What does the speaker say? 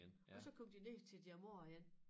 Og så kom de ned til deres mor igen